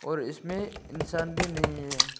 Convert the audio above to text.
और इसमें इंसान भी नहीं है।